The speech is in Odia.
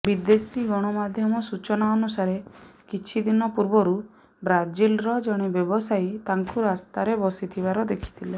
ବିଦେଶୀ ଗଣମାଧ୍ୟମ ସୂଚନା ଅନୁସାରେ କିଛି ଦିନ ପୂର୍ବରୁ ବ୍ରାଜିଲର ଜଣେ ବ୍ୟବସାୟୀ ତାଙ୍କୁ ରାସ୍ତାରେ ବସିଥିବାର ଦେଖିଥିଲେ